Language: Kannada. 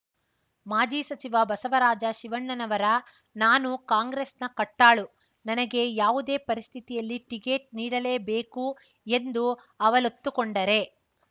ಮಾಜಿ ಸಚಿವ ಬಸವರಾಜ ಶಿವಣ್ಣನವರ ನಾನು ಕಾಂಗ್ರೆಸ್‌ನ ಕಟ್ಟಾಳು ನನಗೆ ಯಾವುದೇ ಪರಿಸ್ಥಿತಿಯಲ್ಲಿ ಟಿಕೆಟ್ ನೀಡಲೇಬೇಕು ಎಂದು ಅವಲತ್ತುಕೊಂಡರೆ